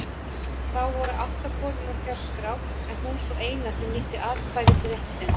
Þá voru átta konur á kjörskrá en hún sú eina sem nýtti atkvæðisrétt sinn.